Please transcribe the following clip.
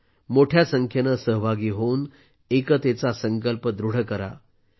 तुम्हीही मोठ्या संख्येने सहभागी होऊन एकतेचा संकल्प दृढ करा